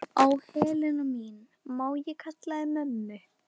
Ó, Helena mín, má ég kalla þig mömmu?